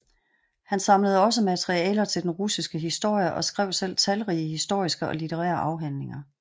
Han samlede også materialer til den russiske historie og skrev selv talrige historiske og litterære afhandlinger